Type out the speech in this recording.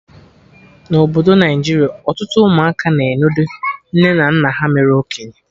Na Obodo Naijiria, ọtụtụ ụmụaka na-enodo nne na nna ha mere okenye